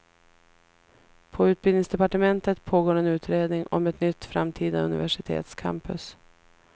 På utbildningsdepartementet pågår en utredning om ett nytt framtida universitetscampus.